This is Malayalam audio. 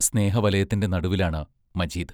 സ്നേഹവലയത്തിൻറ നടുവിലാണ് മജീദ്.